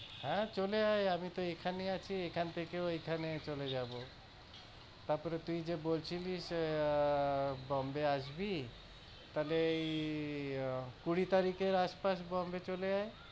হ্যাঁ, চলে আয় আমি তো এখানেই আছি, এখান থেকে ওইখানে চলে যাবো। তারপরে তুই যে বলছিলি এ~আঃ Bombay আসবি। তাইলে এই কুঁড়ি তারিখের আশপাশ Bombay চলে আয়।